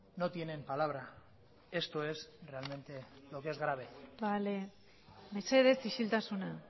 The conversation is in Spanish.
no tienen palabra esto es realmente lo que es grave bale mesedez isiltasuna